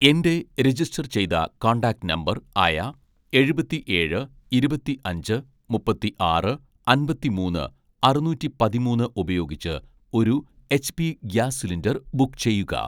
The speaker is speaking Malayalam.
എൻ്റെ രജിസ്റ്റർ ചെയ്ത കോൺടാക്റ്റ് നമ്പർ ആയ എഴുപത്തിഏഴ് ഇരുപത്തിഅഞ്ച് മുപ്പത്തിആറ് അമ്പത്തിമൂന്ന് അറുനൂറ്റി പതിമൂന്ന് ഉപയോഗിച്ച് ഒരു എച്ച്പി ഗ്യാസ് സിലിണ്ടർ ബുക്ക് ചെയ്യുക